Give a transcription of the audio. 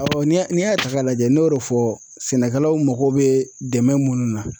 n'i y'a n'i y'a ta k'a lajɛ n'o de fɔ sɛnɛkɛlaw mako bɛ dɛmɛn minnu na